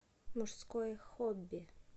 мужское хобби